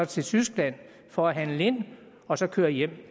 til tyskland for at handle ind og så køre hjem